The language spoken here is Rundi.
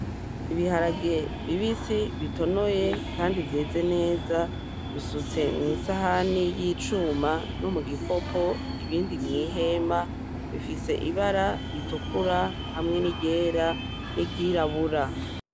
Ibiharage bibisi bitonoye kandi vyeze neza, bisutse mw'isahani y’icuma no mugikopo, ibindi mw'ihema, bifise ibara ritukura hamwe n’iryera n’iryirabura.